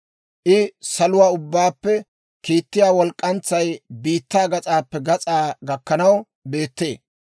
I saluwaa ubbaappe kiittiyaa walk'k'antsay biittaa gas'aappe gas'aa gakkanaw beettee.